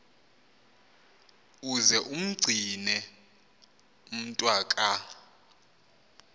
uze umgcine umntwaka